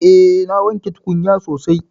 Eh na wanke tukunya sosai.